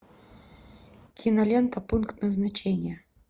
кинолента пункт назначения